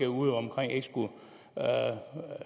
udeomkring ikke skulle